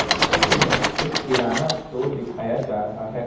इस चित्र में एक किराना स्टोर दिखाया जा रहा है।